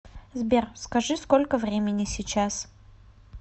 сбер скажи сколько времени сейчас